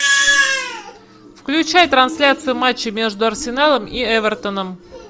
включай трансляцию матча между арсеналом и эвертоном